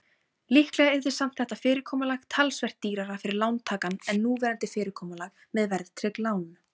Líklega yrði samt þetta fyrirkomulag talsvert dýrara fyrir lántakann en núverandi fyrirkomulag með verðtryggð lán.